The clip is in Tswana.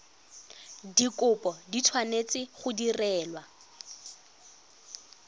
dikopo di tshwanetse go direlwa